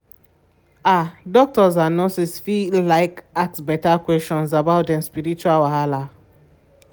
ah doctors and nurses go fit like ask beta questions about dem spiritual wahala.